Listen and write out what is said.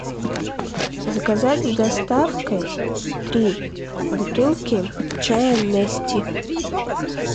заказать с доставкой три бутылки чая нести